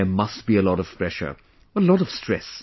There must be a lot of pressure...a lot of stress